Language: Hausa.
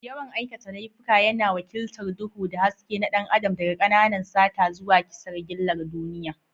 Yawan aikata laifuka yana wakiltar duhu da haske na ɗan adam, daga ƙananan sata zuwa kisan gillar duniya.